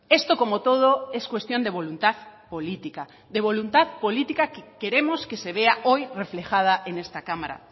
esto como todo es cuestión de voluntad política de voluntad política que queremos que se vea hoy reflejada en esta cámara